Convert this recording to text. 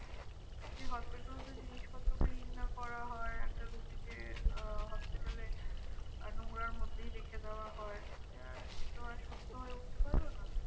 যদি hospitals এর জিনিসপত্র clean না করা হয়, একটা রুগীকে আহ hospital এ আহ নোংরার মধ্যেই রেখে দেওয়া হয়। তাহলে আর সেতো আর সুস্থ হয়ে উঠতে পারবে না।